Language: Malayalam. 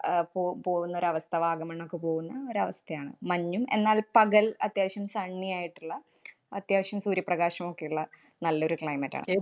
അഹ് പോ~ പോകുന്ന ഒരവസ്ഥ. വാഗമണ്ണൊക്കെ പോകുന്ന ഒരവസ്ഥയാണ്. മഞ്ഞും, എന്നാല്‍ പകല്‍ അത്യാവശ്യം sunny യായിട്ടുള്ള അത്യാവശ്യം സൂര്യപ്രകാശമൊക്കെയുള്ള നല്ലൊരു climate ആണ്. ഏ~